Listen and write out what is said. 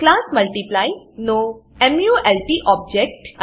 class multiply નો mult object